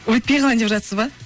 өйтпей қалайын деп жатсыз ба